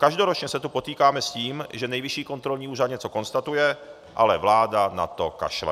Každoročně se tu potýkáme s tím, že Nejvyšší kontrolní úřad něco konstatuje, ale vláda na to kašle.